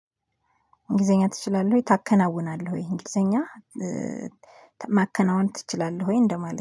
እንግሊዘኛ ትችላለህ ወይ ታከናውናለህ ወይ እንግሊዘኛ ማከናወን ትችላለህ ወይ እንደማለት